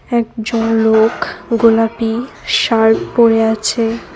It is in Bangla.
একজন লোক গোলাপি শার্ট পরে আছে।